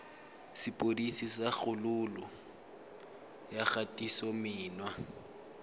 sepodisi sa kgololo ya kgatisomenwa